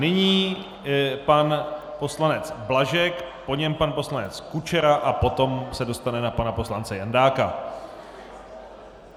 Nyní pan poslanec Blažek, po něm pan poslanec Kučera a potom se dostane na pana poslance Jandáka.